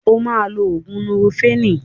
O máa lo ògùn núrofénì.